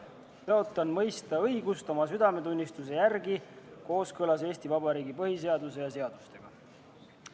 Tõotan mõista õigust oma südametunnistuse järgi kooskõlas Eesti Vabariigi põhiseaduse ja seadustega.